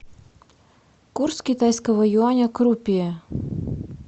курс китайского юаня к рупии